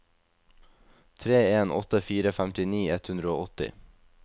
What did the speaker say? tre en åtte fire femtini ett hundre og åtti